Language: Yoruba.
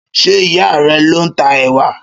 Ṣé ìyá a rẹ ló ń ta ẹ̀wà?